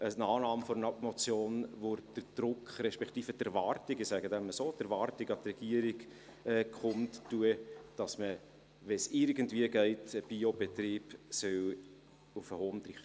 Eine Annahme der Motion würde den Druck, respektive die Erwartung – ich nenne es so – an die Regierung kundtun, dass man, wenn es irgendwie geht, einen Biobetrieb auf dem Hondrich haben soll.